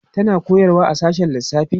tana koyarwa a sashen lissafi